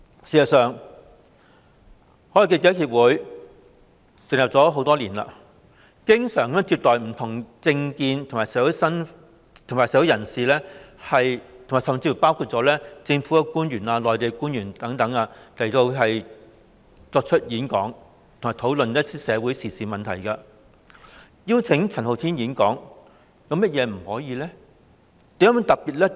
事實上，已成立多年的外國記者會經常接待不同政見及身份的社會人士，包括香港及內地官員等，邀請他們演講，以及討論社會時事問題，那麼邀請陳浩天演講又有何不可？